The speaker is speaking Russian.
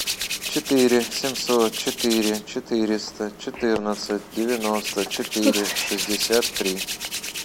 четыре семьсот четыре четыреста четырнадцать девяносто четыре шестьдесят три